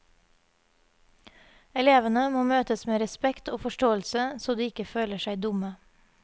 Elevene må møtes med respekt og forståelse, så de ikke føler seg dumme.